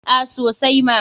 A sosai ma.